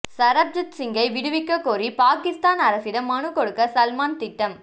சரப்ஜித் சிங்கை விடுவிக்கக் கோரி பாகிஸ்தான் அரசிடம் மனு கொடுக்க சல்மான் திட்டம்